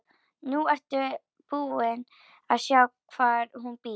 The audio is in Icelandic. Nú ertu búin að sjá hvar hún býr.